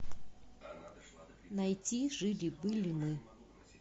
найти жили были мы